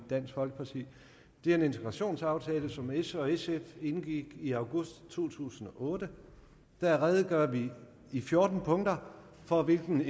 dansk folkeparti det er en integrationsaftale som s og sf indgik i august to tusind og otte og her redegør vi i fjorten punkter for hvilken